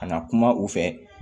Ka na kuma u fɛ